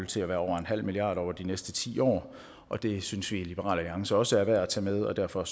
til at være over nul milliard kroner over de næste ti år og det synes vi i liberal alliance også er værd at tage med og derfor